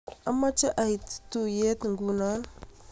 amache ait tuyee nguno.